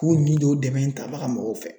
K'o ɲi don o dɛmɛ in tabaga mɔgɔw fɛ